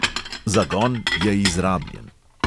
"Zagon" je izrabljen.